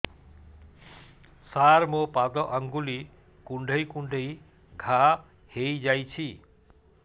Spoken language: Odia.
ସାର ମୋ ପାଦ ଆଙ୍ଗୁଳି କୁଣ୍ଡେଇ କୁଣ୍ଡେଇ ଘା ହେଇଯାଇଛି